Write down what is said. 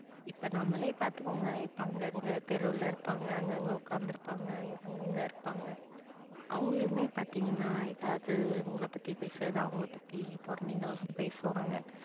இப்ப நாமலே பாத்துகோங்க இப்ப அங்க அங்க தெருல இருபாங்க அங்க அங்க ஒகாந்து இருபாங்க அங்க அங்க இருபாங்க அவங்கலுமே பாத்திங்கனா எதாவது உங்கள பத்தி பேசுறது அவங்கள பத்தி புறணிகள்லாம் பேசுவாங்க